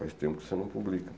Faz tempo que você não publica.